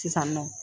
Sisan nɔ